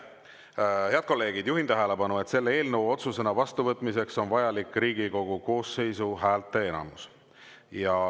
Head kolleegid, juhin tähelepanu, et selle eelnõu otsusena vastuvõtmiseks on vajalik Riigikogu koosseisu häälteenamus.